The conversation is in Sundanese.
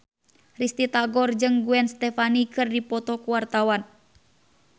Risty Tagor jeung Gwen Stefani keur dipoto ku wartawan